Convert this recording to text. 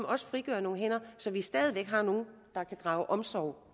også frigør nogle hænder så vi stadig væk har nogle der kan drage omsorg